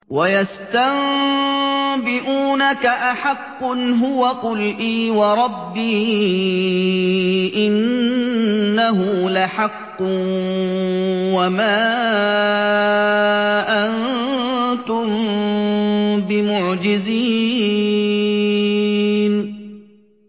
۞ وَيَسْتَنبِئُونَكَ أَحَقٌّ هُوَ ۖ قُلْ إِي وَرَبِّي إِنَّهُ لَحَقٌّ ۖ وَمَا أَنتُم بِمُعْجِزِينَ